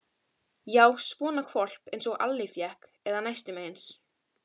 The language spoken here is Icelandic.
Já, svona hvolp einsog Alli fékk, eða næstum eins.